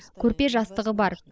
көрпе жастығы бар